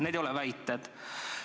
Need ei ole väited.